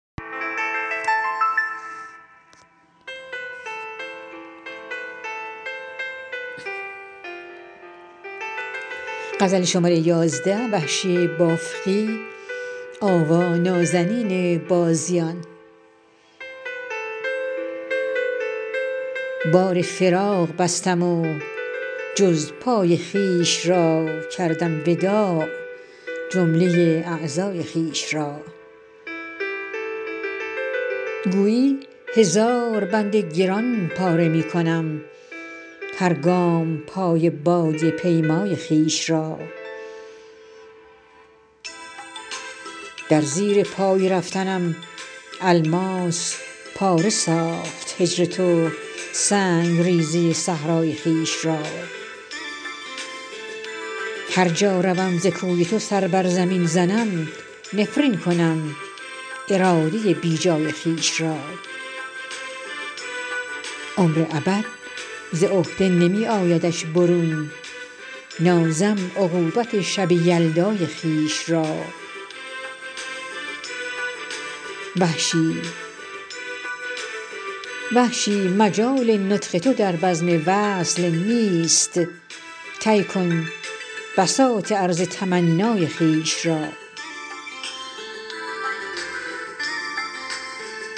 بار فراق بستم و جز پای خویش را کردم وداع جمله اعضای خویش را گویی هزار بند گران پاره می کنم هر گام پای بادیه پیمای خویش را در زیر پای رفتنم الماس پاره ساخت هجر تو سنگریزه صحرای خویش را هر جا روم ز کوی تو سر بر زمین زنم نفرین کنم اراده بیجای خویش را عمر ابد ز عهده نمی آیدش برون نازم عقوبت شب یلدای خویش را وحشی مجال نطق تو در بزم وصل نیست طی کن بساط عرض تمنای خویش را